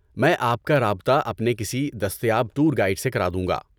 میں آپ کا رابطہ اپنے کسی دستیاب ٹور گائیڈ سے کرادوں گا۔